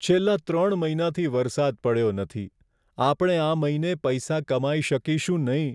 છેલ્લા ત્રણ મહિનાથી વરસાદ પડ્યો નથી. આપણે આ મહિને પૈસા કમાઈ શકીશું નહીં.